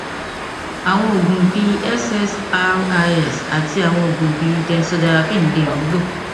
àwọn oògùn bíi ssris àti àwọn oògùn benzodiazepine lè wúlò